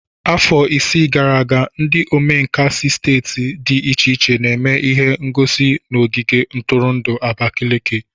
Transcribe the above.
Afọ isii gara aga, ndi omenkà si steeti dị iche iche n'eme ihe ngosi n'ogige ntụrụndụ Abakaliki.